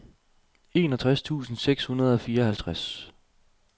enogtres tusind seks hundrede og fireoghalvtreds